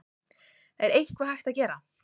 Er eitthvað hægt að gera?